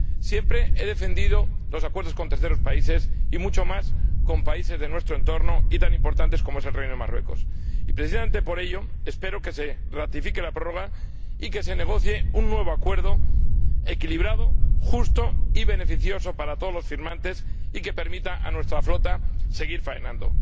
Siempre he defendido los acuerdos con terceros países, y mucho más con países de nuestro entorno y tan importantes como es el Reino de Marruecos, y, precisamente por ello, espero que se ratifique la prórroga y que se negocie un nuevo acuerdo equilibrado, justo y beneficioso para todos los firmantes y que permita a nuestra flota seguir faenando.